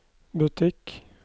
butikk